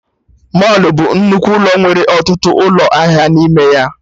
Mọlụ bụ nnukwu ụlọ nwere ọtụtụ ụlọ ahịa n'ime ya